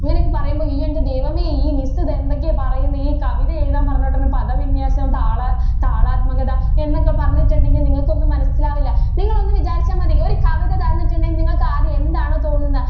ഇങ്ങനെ ഒക്കെ പറയുമ്പോൾ നിങ്ങൾ ഇയ്യോ എൻ്റെ ദൈവമേ ഈ miss ഇത് എന്തൊക്കെയാ ഈ പറയുന്നത് ഈ കവിത എഴുതാൻ പറഞ്ഞിട്ട് ഒരു പദവിന്യാസം താളാ~താളാത്മകത എന്നൊക്കെ പറഞ്ഞിട്ടുണ്ടെങ്കിൽ നിങ്ങൾക്ക് ഒന്നും മനസിലാകില്ല നിങ്ങൾ ഒന്ന് വിചാരിച്ചാൽ മതി ഒരു കവിത തന്നിട്ടുണ്ടെങ്കിൽ നിങ്ങൾക്ക് ആദ്യം എന്താണ് തോന്നുന്നത്.